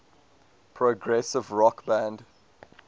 progressive rock band